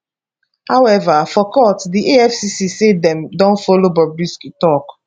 however for court di efcc say dem don follow bobrisky tok